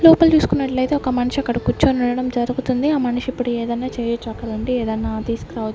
లోపల చూకున్నట్లయితే ఒక మనిషి అక్కడ కూర్చొనుండడం జరుగుతుంది ఆ మనిషి ఇప్పుడు ఏదైనా చేయొచ్చు అక్కడుండి ఏదైనా తీసుకురావచ్చు.